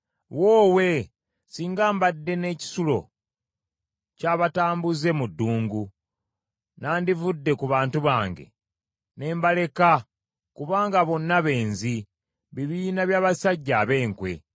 Woowe singa mbadde n’ekisulo ky’abatambuze mu ddungu, nnandivudde ku bantu bange ne mbaleka kubanga bonna benzi, bibiina by’abasajja ab’enkwe.